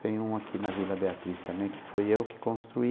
Tem um aqui na Vila Beatriz também, que foi eu que construí.